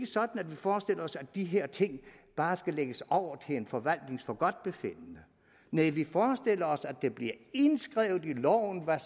sådan at vi forestiller os at de her ting bare skal lægges over til en forvaltnings forgodtbefindende nej vi forestiller os at der bliver indskrevet i loven hvad